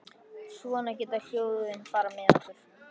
Svona geta ljóðin farið með okkur.